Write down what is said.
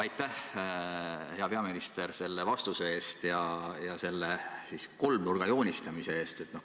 Aitäh, hea peaminister, selle vastuse eest ja selle kolmnurga joonistamise eest!